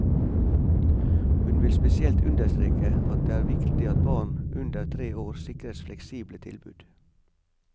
Hun vil spesielt understreke at det er viktig at barn under tre år sikres fleksible tilbud.